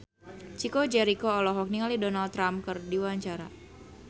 Chico Jericho olohok ningali Donald Trump keur diwawancara